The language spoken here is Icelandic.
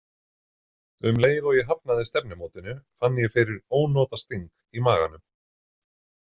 Um leið og ég hafnaði stefnumótinu fann ég fyrir ónotasting í maganum.